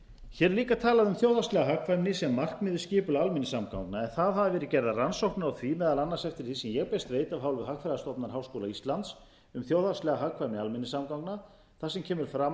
hér er líka talað um þjóðhagslega hagkvæmni sem markmið við skipulag almenningssamgangna en þar hafa verið gerðar rannsóknir á því meðal annars eftir því sem ég best veit af hálfu hagfræðistofnunar háskóla íslands um þjóðhagslega hagkvæmni almenningssamgangna þar sem kemur fram að